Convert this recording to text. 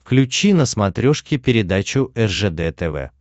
включи на смотрешке передачу ржд тв